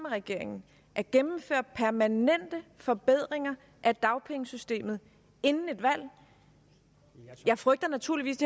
regeringen at gennemføre permanente forbedringer af dagpengesystemet inden et valg jeg frygter naturligvis